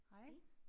Hey